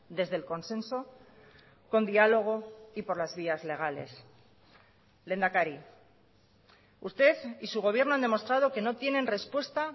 desde el consenso con diálogo y por las vías legales lehendakari usted y su gobierno han demostrado que no tienen respuesta